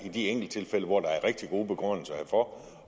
i de enkelttilfælde hvor der er rigtig gode begrundelser herfor